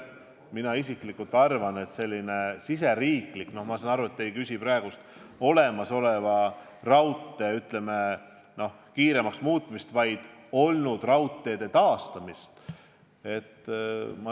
Ma saan aru, et te ei küsi praegu olemasoleva raudtee kiiremaks muutmise kohta, vaid kunagiste raudteede taastamise kohta.